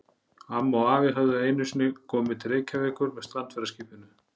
Amma og afi höfðu einu sinni komið til Reykjavíkur með strandferðaskipinu